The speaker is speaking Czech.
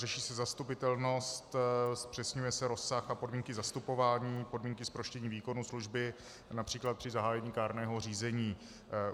Řeší se zastupitelnost, zpřesňuje se rozsah a podmínky zastupování, podmínky zproštění výkonu služby, například při zahájení kárného řízení.